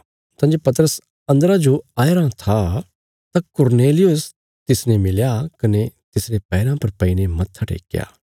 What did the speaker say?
तां जे पतरस अन्दरा जो आया रां था तां कुरनेलियुस तिसने मिलया कने तिसरे पैराँ पर पईने मत्था टेक्कया